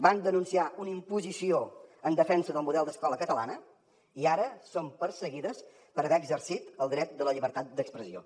van denunciar una imposició en defensa del model d’escola catalana i ara són perseguides per haver exercit el dret de la llibertat d’expressió